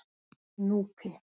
Núpi